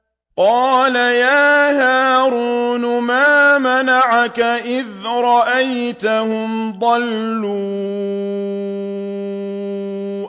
قَالَ يَا هَارُونُ مَا مَنَعَكَ إِذْ رَأَيْتَهُمْ ضَلُّوا